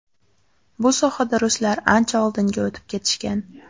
Bu sohada ruslar ancha oldinga o‘tib ketishgan.